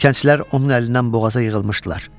Kəndçilər onun əlindən boğaza yığılmışdılar.